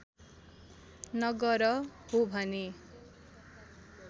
नगर हो भने